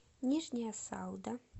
нижняя салда